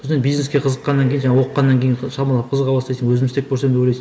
содан бизнеске қызыққаннан кейін жаңағы оқығаннан кейін ы шамалы қызыға бастайсың өзім істеп көрсем деп ойлайсың